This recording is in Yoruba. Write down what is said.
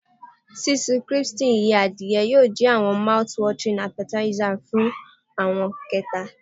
Sisun crispy adie iyẹ yoo jẹ awọn mouthwatering appetizer fun awọn kẹta.